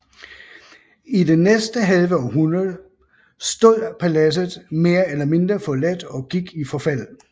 I det næste halve århundrede stod paladset mere eller mindre forladt og gik i forfald